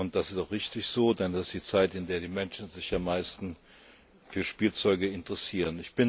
Das ist auch richtig so, denn das ist die Zeit, in der sich die Menschen am meisten für Spielzeug interessieren.